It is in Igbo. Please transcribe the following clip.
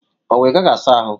Owu Ị gaghị asa ahụ?